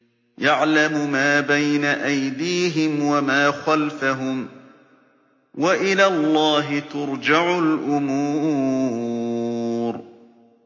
يَعْلَمُ مَا بَيْنَ أَيْدِيهِمْ وَمَا خَلْفَهُمْ ۗ وَإِلَى اللَّهِ تُرْجَعُ الْأُمُورُ